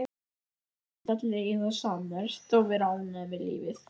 Virtust allir eiga það sammerkt að vera ánægðir með lífið.